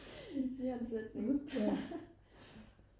siger en sætning